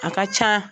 A ka ca